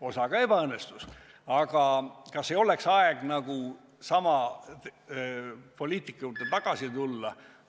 Osa neist küll ei saatnud edu, aga kas ei oleks aeg sama poliitika juurde tagasi tulla?